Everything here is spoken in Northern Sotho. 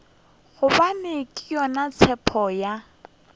gobane ke yona tshepo ya